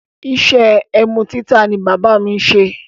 Iṣẹ́ ẹmu títà ni bábà mi ṣe.